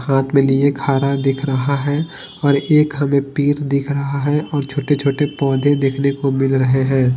हाथ में लिए खारा दिख रहा है और एक हमें पीर दिख रहा है और छोटे-छोटे पौधे देखने को मिल रहे हैं।